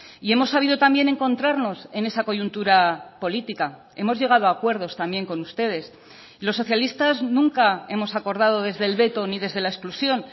y hemos sabido también encontrarnos en esa coyuntura política hemos llegado a acuerdos también con ustedes los socialistas nunca hemos acordado desde el veto ni desde la exclusión